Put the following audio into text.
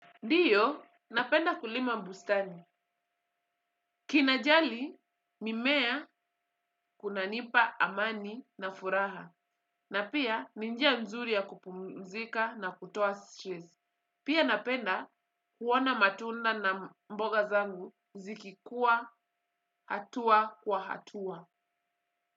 Ndiyo, napenda kulima bustani. Kinajali mimea kunanipa amani na furaha. Na pia, ni njia nzuri ya kupumzika na kutoa stress. Pia napenda kuona matunda na mboga zangu zikikuwa hatua kwa hatua.